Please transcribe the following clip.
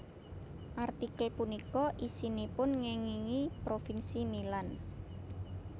Artikel punika isinipun ngéngingi Provinsi Milan